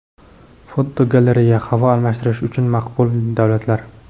Fotogalereya: Havo almashtirish uchun maqbul davlatlar.